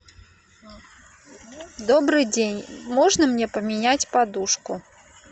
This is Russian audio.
добрый день можно мне поменять подушку